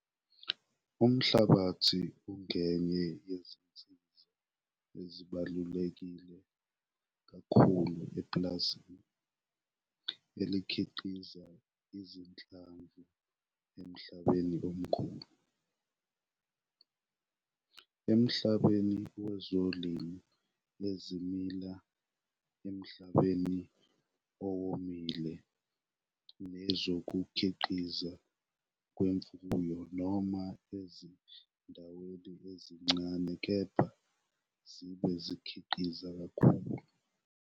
Umhlabathi ungenye yezinsiza ezibaluleke kakhulu epulazini elikhiqiza izinhlamvu emhlabeni omkhulu, emhlabeni wezilimo ezimila emhlabeni owomile nezokukhiqizwa kwemfuyo noma ezindaweni ezincane kepha zibe zikhiqiza kakhulu.